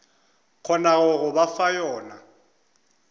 kgonago go ba fa yona